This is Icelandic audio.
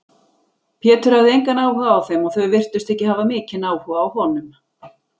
Pétur hafði engan áhuga á þeim og þau virtust ekki hafa mikinn áhuga á honum.